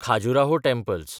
Khajuraho temples